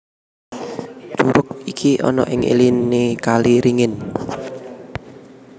Curug iki ana ing iliné kali ringin